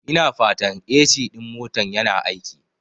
Ina fatan AC ɗin motan yana aiki?